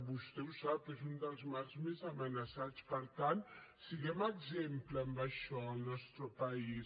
vostè ho sap és un dels mars més amenaçats per tant siguem exemple en això al nostre país